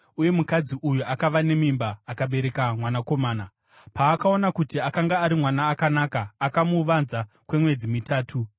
uye mukadzi uyu akava nemimba akabereka mwanakomana. Paakaona kuti akanga ari mwana akanaka, akamuvanza kwemwedzi mitatu.